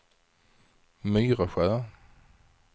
Myresjö